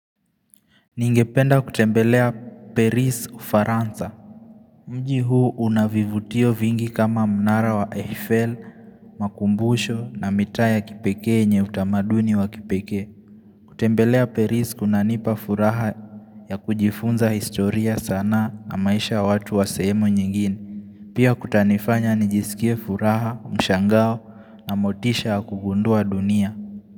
Ningependa kutembelea Paris ufaransa, mji huu unavivutio vingi kama mnara wa Eiffel, makumbusho na mitaa ya kipekee yenye utamaduni wa kipekee kutembelea Paris kunanipa furaha ya kujifunza historia sana na maisha ya watu wa sehemu nyingine Pia kutanifanya nijisikie furaha, mshangao na motisha ya kugundua dunia.